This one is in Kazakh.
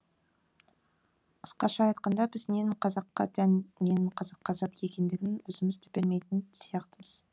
қысқаша айтқанда біз ненін қазаққа тән ненін қазаққа жат екендігін өзіміз де білмейтін сияқтымыз